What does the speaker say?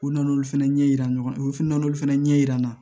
U nana olu fɛnɛ ɲɛ yira ɲɔgɔn na u fana n'olu fɛnɛ ɲɛ yira n na